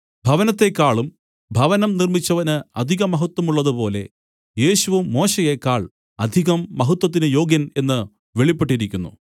ഭവനത്തെക്കാളും ഭവനം നിർമ്മിച്ചവന് അധിക മഹത്വമുള്ളതുപോലെ യേശുവും മോശയേക്കാൾ അധികം മഹത്വത്തിന് യോഗ്യൻ എന്ന് വെളിപ്പെട്ടിരിക്കുന്നു